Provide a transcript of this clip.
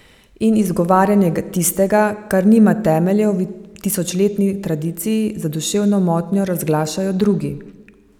In zagovarjanje tistega, kar nima temeljev v tisočletni tradiciji, za duševno motnjo razglašajo drugi.